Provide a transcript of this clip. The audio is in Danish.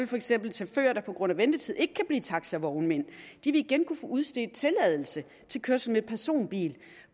for eksempel chauffører der på grund af ventetid ikke kan blive taxavognmænd igen kunne få udstedt tilladelse til kørsel med personbil